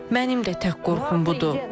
Mənim də tək qorxum budur.